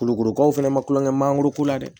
Kulukorokaw fɛnɛ ma kulon kɛ mangoro ko la dɛ